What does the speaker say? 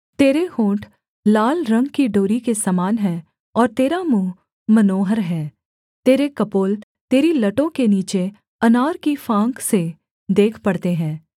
तेरे होंठ लाल रंग की डोरी के समान हैं और तेरा मुँह मनोहर है तेरे कपोल तेरी लटों के नीचे अनार की फाँक से देख पड़ते हैं